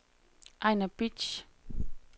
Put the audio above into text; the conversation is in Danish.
Ejnar Bitsch